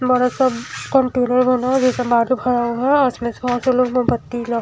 बड़ा सा कंप्यूटर बना है जिसमें बत्ती ल--